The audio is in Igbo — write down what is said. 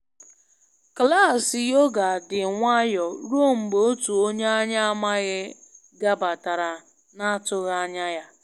Klaasị yoga dị nwayọ ruo mgbe otu onye anyị amaghị gabatara na atụghị anya ya